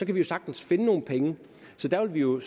vi jo sagtens finde nogle penge så der vil vi jo